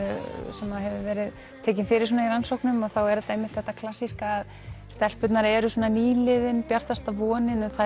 sem hefur verið tekin fyrir í rannsóknum þá er þetta einmitt þetta klassíska stelpurnar eru nýliðinn bjartasta vonin það